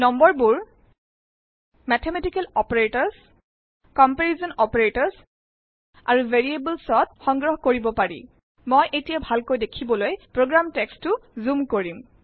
নং বোৰ mathematical operators comparison operators আৰু Variablesত সংগ্ৰহ কৰিব পাৰি মই এতিয়া ভালকৈ দেখিবলৈ প্ৰোগ্ৰাম টেকস্টো জোম কৰিম